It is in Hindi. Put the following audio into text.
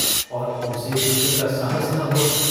और उनसे पूछने का साहस न हुआ।